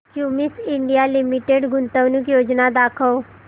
Cummins India Limited गुंतवणूक योजना दाखव